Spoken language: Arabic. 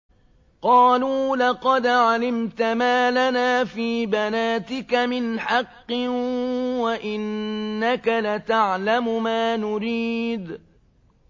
قَالُوا لَقَدْ عَلِمْتَ مَا لَنَا فِي بَنَاتِكَ مِنْ حَقٍّ وَإِنَّكَ لَتَعْلَمُ مَا نُرِيدُ